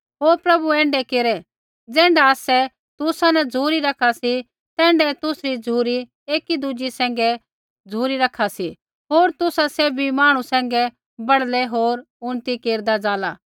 होर प्रभु ऐण्ढै केरै ज़ैण्ढा आसै तुसा न झ़ुरी रखा सी तैण्ढाऐ तुसरी झ़ुरी एकी दुज़ै सैंघी झ़ुरी रखा सी होर तुसा सैभी मांहणु सैंघै बढ़लै होर उन्नति केरदा ज़ाला